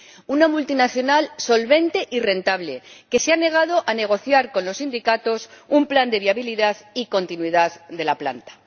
Una multinacional solvente y rentable que se ha negado a negociar con los sindicatos un plan de viabilidad y continuidad de la planta.